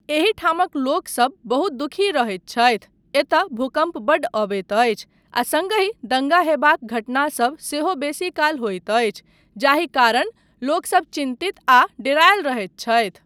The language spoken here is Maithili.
एहिठामक लोकसब बहुत दुःखी रहैत छथि, एतय भूकम्प बड्ड अबैत अछि आ सङ्गहि दङ्गा होयबाक घटनासब सेहो बेसीकाल होइत अछि जाहि कारण लोकसब चिन्तित आ डेरायल रहैत छथि।